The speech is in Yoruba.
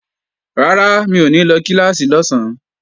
Rárá, mi ò ní lọ kíláàsì lọ́sán